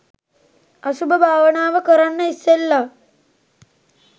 අසුභ භාවනාව කරන්න ඉස්සෙල්ල